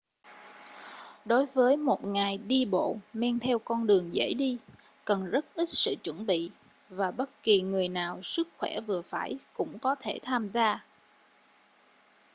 đối với một ngày đi bộ men theo con đường dễ đi cần rất ít sự chuẩn bị và bất kỳ người nào sức khỏe vừa phải cũng có thể tham gia